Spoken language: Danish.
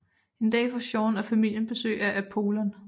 En dag får Jean og familien besøg af Apollon